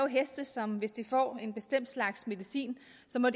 heste som hvis de får en bestemt slags medicin